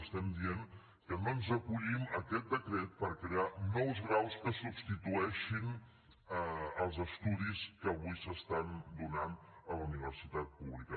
estem dient que no ens acollim a aquest decret per crear nous graus que substitueixin els estudis que avui s’estan donant a la universitat pública